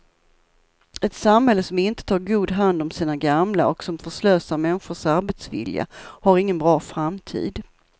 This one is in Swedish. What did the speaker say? Ett samhälle som inte tar god hand om sina gamla och som förslösar människors arbetsvilja har ingen bra framtid.